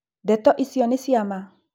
Ndeto icio nĩ ciama?